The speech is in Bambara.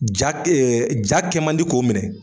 Ja ja kɛ man di k'o minɛ.